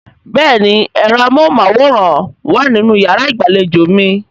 Bẹ́ẹ̀ni ẹ̀rọ amóhùnmáwòrán wà nínú yàrá ìgbàlejò mi